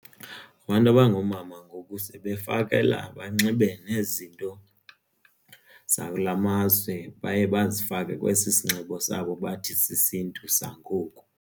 Abantu abangoomama ngoku sebefakela banxibe nezinto zakulamazwe baye bazifake kwesi sinxibo sabo bathi sisiNtu sangoku.